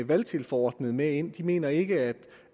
valgtilforordnet med ind de mener ikke